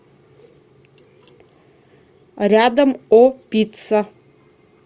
рядом о пицца